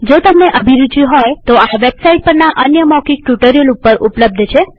જો તમને અભિરુચિ હોય તોતે આ વેબસાઈટ પરના અન્ય મૌખિક ટ્યુ્ટોરીઅલ ઉપર ઉપલબ્ધ છે